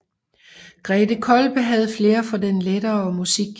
Grethe Kolbe havde flair for den lettere musik